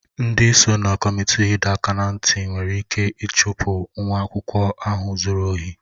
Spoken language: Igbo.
Ndị so na kọmitii ịdọ aka ná ntị nwere ike ịchụpụ nwa akwụkwọ ahụ zuru ohi